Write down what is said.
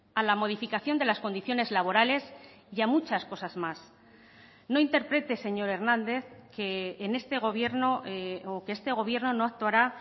a la modificación de las condiciones laborales y a muchas cosas más no interprete señor hernández que en este gobierno o que este gobierno no actuará